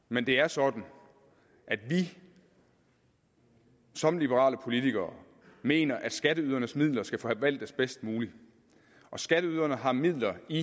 men det er sådan at vi som liberale politikere mener at skatteydernes midler skal forvaltes bedst muligt skatteyderne har midler i